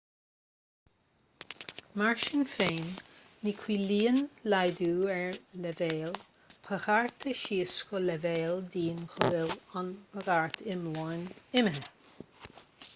mar sin féin ní chiallaíonn laghdú ar leibhéal bagartha síos go leibhéal dian go bhfuil an bhagairt iomlán imithe